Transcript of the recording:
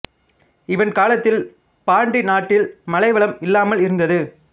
இவன் காலத்தில் பாண்டி நாட்டில் மழை வளம் இல்லாமல் இருந்தது